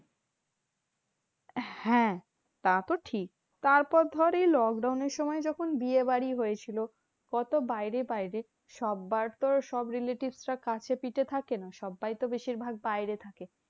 হ্যাঁ তা তো ঠিক। তারপর ধর এই lockdown এর সময় যখন বিয়েবাড়ি হয়েছিল, কত বাইরে বাইরে। সব্বার তো আর সব relatives রা কাছেপিঠে থাকে না, সব্বাই তো বেশিরভাগ বাইরে থাকে।